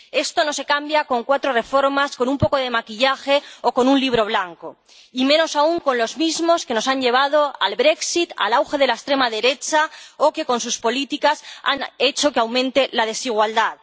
Esto no se cambia con cuatro reformas, con un poco de maquillaje o con un Libro Blanco y, menos aún, con los mismos que nos han llevado al brexit al auge de la extrema derecha o que con sus políticas han hecho que aumente la desigualdad.